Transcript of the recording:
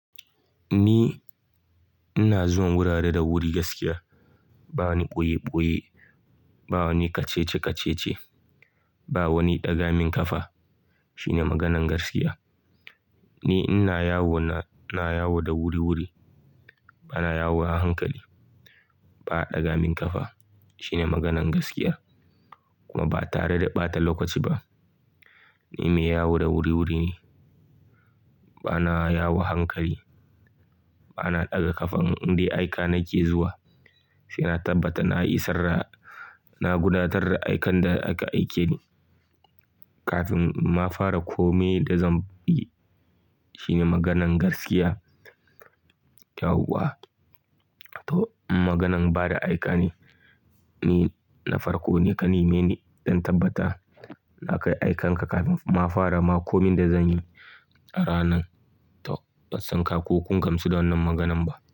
Ni ina zuwa wurare da wuri gaskiya. Ba wani ɓoye-ɓoye, ba wani kace nace, ba wani ɗaga min ƙafa. Shine maganan gaskiya. Ni ina yawo na, na yawo da wuri-wuri. Bana yawo a hankali. Ba a ɗaga min ƙafa. Shine maganan gaskiya. Kuma ba tare da ɓata lokaci ba. Ni mai yawone wuri-wuri ne. Bana yawo a hankali. Bana ɗaga ƙafan inda aike nake zuwa. Saina tabbatar na isar, na gudanar da aikan da aka aike ni kafin ma nafara kome da zan bi. Shine maganan gaskiya. Yawwa a, to maganan bada aika ne. Ni na farko ne kamar ni sai na tabbata na kai aiken ka kafin ma na fara ma komin da zan yi a ranan. To, ban san ka ko kun gamsu da wannan maganan ba.